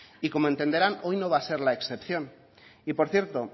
y como entenderán hoy no va a ser la excepción y por cierto